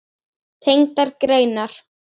Tengdar greinar